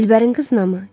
Dilbərin qızınamı?